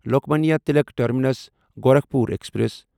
Lokmanya Tilak terminus Gorakhpur express